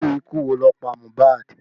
Irú ikú wo ló pa MOHBAD?